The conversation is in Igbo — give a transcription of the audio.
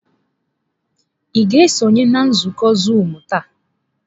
Ị ga-esonye na nzukọ zuumu taa?